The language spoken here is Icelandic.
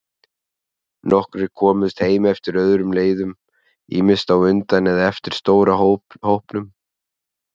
Nokkrir komust heim eftir öðrum leiðum, ýmist á undan eða eftir stóra hópnum.